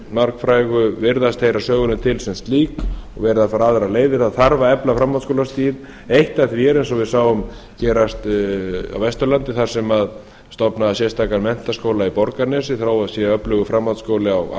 margfrægu virðast heyra sögunni til sem slík og verið að fara aðrar leiðir það þarf að efla framhaldsskólastigið eitt af því er eins og við sáum gerast á vesturlandi þar sem stofnaður var sérstakur menntaskóli í borgarnesi þó það sé öflugur framhaldsskóli á